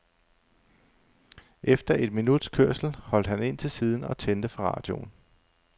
Efter et minuts kørsel holdt han ind til siden og tændte for radioen.